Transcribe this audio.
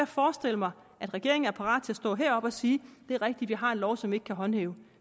forestille mig at regeringen er parat til at stå heroppe og sige det er rigtigt vi har en lov som vi ikke kan håndhæve